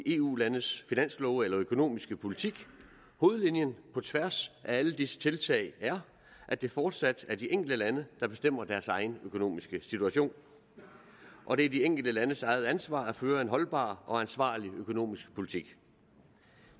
eu landenes finanslove eller økonomiske politik hovedlinjen på tværs af alle disse tiltag er at det fortsat er de enkelte lande der bestemmer deres egen økonomiske situation og det er de enkelte landes eget ansvar at føre en holdbar og ansvarlig økonomisk politik